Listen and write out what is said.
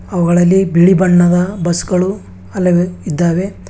ಅವುಗಳಲ್ಲಿ ಬಿಳಿ ಬಣ್ಣದ ಬಸ್ಸುಗಳು ಹಲವು ಇದ್ದಾವೆ.